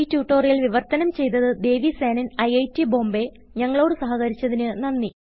ഈ ട്യൂട്ടോറിയൽ വിവർത്തനം ചെയ്തത് ദേവി സേനൻIIT Bombayഞങ്ങളോട് സഹകരിച്ചതിന് നന്ദി